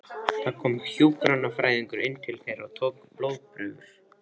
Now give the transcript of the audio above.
Það kom hjúkrunarfræðingur inn til þeirra og tók blóðprufur.